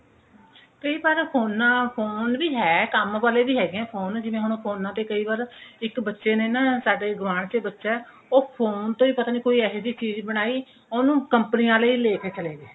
ਕਈ ਵਾਰ ਫੋਨਾ phone ਵੀ ਹੈ ਕੰਮ ਵਾਲੇ ਵੀ ਹੈਗੇ ਐ phone ਹੁਣ ਜਿਵੇਂ ਹੁਣ ਫੋਨਾ ਤੇ ਕਈ ਵਾਰ ਇੱਕ ਬੱਚੇ ਨੇ ਨਾ ਸਾਡੇ ਗੁਆਂਡ ਚ ਬੱਚਾ ਉਹ phone ਤੋਂ ਹੀ ਪਤਾ ਨਹੀ ਕੋਈ ਏਹੀ ਜੀ ਚੀਜ ਬਣਾਈ ਉਹਨੂੰ company ਆਲੇ ਹੀ ਲੇਕੇ ਚਲੇ ਗਏ